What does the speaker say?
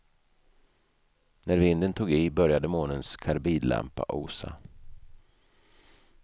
När vinden tog i började månens karbidlampa osa.